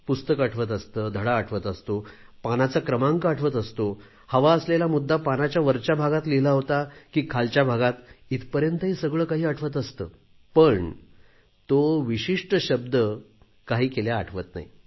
पुस्तक आठवत असते धडा आठवत असतो पानाचा क्रमांक आठवत असतो हवा असलेला मुद्दा पानाच्या वरच्या भागात लिहिला होता की खालच्या भागात इथपर्यंतही सगळे काही आठवत असते पण तो विशिष्ट शब्द काही केल्या आठवत नाही